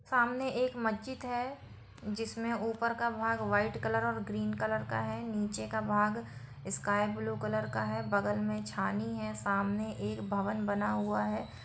सामने एक मजीद है जिसमें ऊपर का भाग वाइट कलर और ग्रीन कलर का है और नीचे का भाग स्काई ब्लू कलर का है बगल मे छानी है सामने एक भवन बना हुआ है।